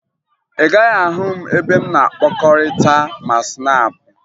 Ị gaghị ahụ m ebe m na-akpakọrịta ma Snaapụ